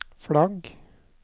flagg